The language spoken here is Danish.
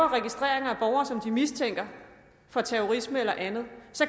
registrerer borgere som de mistænker for terrorisme eller andet